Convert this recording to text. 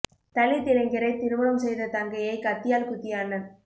தலித் இளைஞரைத் திருமணம் செய்த தங்கையை கத்தியால் குத்திய அண்ணன்